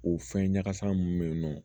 O fɛn ɲagasa mun be yen nɔ